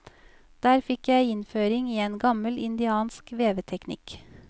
Der fikk jeg innføring i en gammel indiansk veveteknikk.